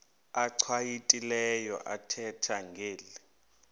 achwavitilevo ethetha ngeli